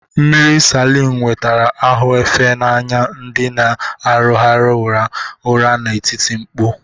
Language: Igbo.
Mmiri salin wetara ahụ efe n'anya ndị na-arahụ ụra, ụra na-eti mkpu.